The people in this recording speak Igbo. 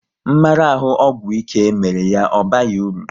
Mmarahu ọgwụ ike mere ya ọ baghị uru